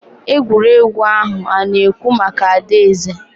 egwuregwu ahụ ana-ekwu maka adaeze